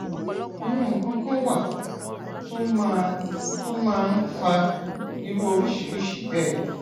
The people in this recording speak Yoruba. àwọn nǹkan kan wà tó máa tó máa ń fa irú oríṣiríṣi bẹẹ